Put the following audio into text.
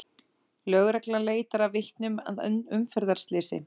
Lögreglan leitar að vitnum að umferðarslysi